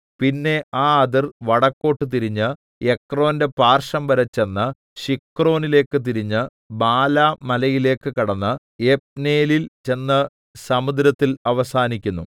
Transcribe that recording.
പിന്നെ ആ അതിർ വടക്കോട്ട് തിരിഞ്ഞ് എക്രോന്റെ പാർശ്വംവരെ ചെന്ന് ശിക്രോനിലേക്ക് തിരിഞ്ഞ് ബാലാ മലയിലേക്ക് കടന്ന് യബ്നേലിൽ ചെന്ന് സമുദ്രത്തിൽ അവസാനിക്കുന്നു